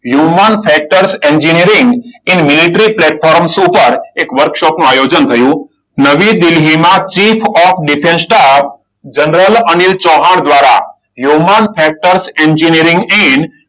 Human factors engineering એ military platforms પર એક વર્કશોપનું આયોજન થયું. નવી દિલ્હીમાં chief of defence staff general Anil Chauhan દ્વારા હ્યુમન ફેક્ટર્સ એન્જિનિયરિંગ એન્ડ